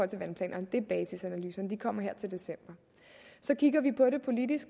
til vandplanerne det er basisanalyserne og de kommer her til december så kigger vi på det politisk